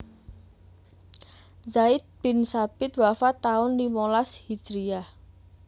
Zaid bin Tsabit wafat taun limolas Hijriah